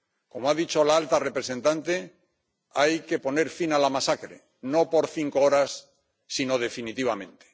Como ha dicho la alta representante, hay que poner fin a la masacre no por cinco horas, sino definitivamente.